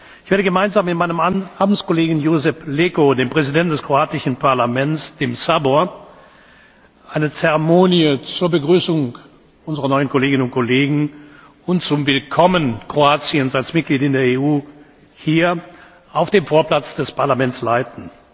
Ich werde gemeinsam mit meinem Amtskollegen Josip Leko, dem Präsidenten des kroatischen Parlaments, dem Sabor, eine Zeremonie zur Begrüßung unserer neuen Kolleginnen und Kollegen und zum Willkommen Kroatiens als Mitglied in der EU hier auf dem Vorplatz des Parlaments leiten.